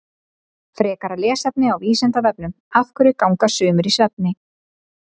Frekara lesefni á Vísindavefnum Af hverju ganga sumir í svefni?